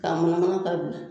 Ka munumunu ka bila.